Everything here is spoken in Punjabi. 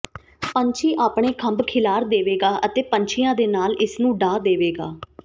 ਪੰਛੀ ਆਪਣੇ ਖੰਭ ਖਿਲਾਰ ਦੇਵੇਗਾ ਅਤੇ ਪੰਛੀਆਂ ਦੇ ਨਾਲ ਇਸ ਨੂੰ ਢਾਹ ਦੇਵੇਗਾ